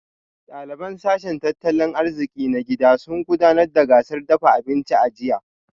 Daliban sashen tattalin arziki na gida sun gudanar da gasar dafa abinci a jiya